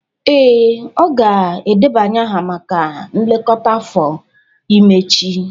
Ee, ọ ga-edebanye aha maka nlekọta afọ ime echi